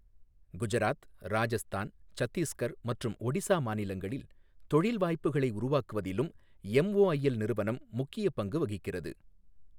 குஜராத், ராஜஸ்தான், சத்தீஸ்கர் மற்றும் ஒடிசா மாநிலங்களில் தொழில் வாய்ப்புகளை உருவாக்குவதிலும் எம்ஒஐஎல் நிறுவனம் முக்கியப் பங்கு வகிக்கிறது.